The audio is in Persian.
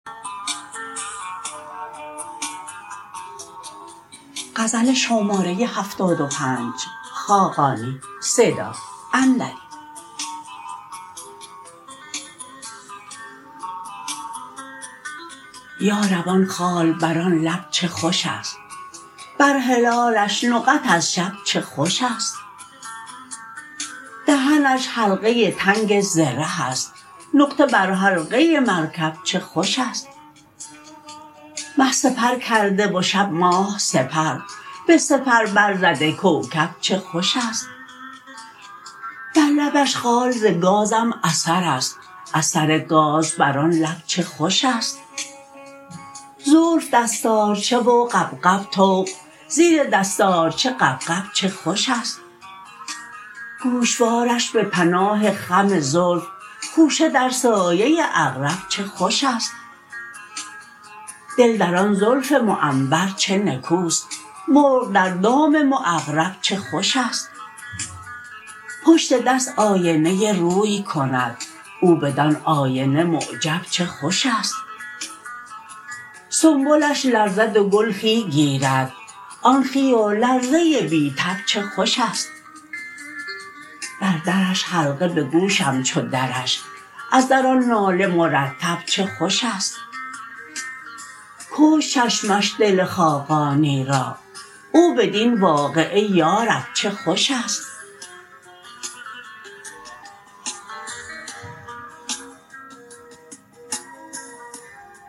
یارب آن خال بر آن لب چه خوش است بر هلالش نقط از شب چه خوش است دهنش حلقه تنگ زره است نقطه بر حلقه مرکب چه خوش است مه سپر کرده و شب ماه سپر به سپر برزده کوکب چه خوش است بر لبش خال ز گازم اثر است اثر گاز بر آن لب چه خوش است زلف دستارچه و غبغب طوق زیر دستارچه غبغب چه خوش است گوشوارش به پناه خم زلف خوشه در سایه عقرب چه خوش است دل در آن زلف معنبر چه نکوست مرغ در دام معقرب چه خوش است پشت دست آینه روی کند او بدان آینه معجب چه خوش است سنبلش لرزد و گل خوی گیرد آن خوی و لرزه بی تب چه خوش است بر درش حلقه به گوشم چو درش از در آن ناله مرتب چه خوش است کشت چشمش دل خاقانی را او بدین واقعه یارب چه خوش است